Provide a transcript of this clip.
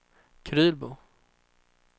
Krylbo